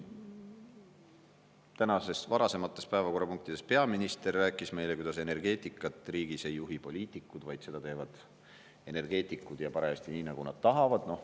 Tänastes varasemates päevakorrapunktides peaminister rääkis meile, et energeetikat riigis ei juhi poliitikud, vaid seda teevad energeetikud, ja parajasti nii, nagu nad tahavad.